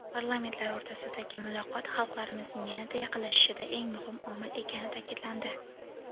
Parlamentlar o‘rtasidagi muloqot xalqlarimizning yana-da yaqinlashishida eng muhim omil ekani taʼkidlandi.